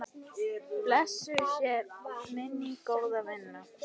Blessuð sé minning góðra vina.